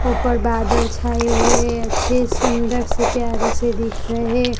ऊपड़ बादल छाए हुए है अच्छे सुंदर से प्यार से दिख रहे--